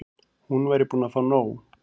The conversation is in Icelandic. Hún væri búin að fá nóg.